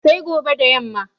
Sai gobe da yamma